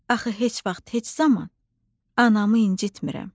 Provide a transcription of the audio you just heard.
Axı heç vaxt, heç zaman anamı incitmirəm.